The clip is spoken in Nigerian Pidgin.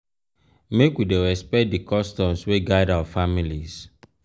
make we dey respect di customs wey guide our families.